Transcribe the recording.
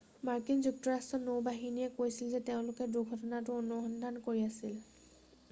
মাৰ্কিন যুক্তৰাষ্ট্ৰৰ নৌ বাহিনীয়েও কৈছিল যে তেওঁলোকেও দুৰ্ঘটনাটোৰ অনুসন্ধান কৰি আছিল